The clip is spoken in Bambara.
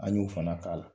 An y'o fana k'a la